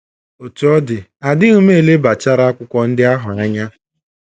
Otú ọ dị, adịghị m elebachara akwụkwọ ndị ahụ anya.